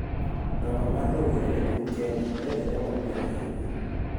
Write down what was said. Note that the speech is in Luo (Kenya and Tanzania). Namba mar joma rowere e piny Kenya medore mapiyo ahinya.